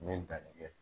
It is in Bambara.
N ye danni kɛ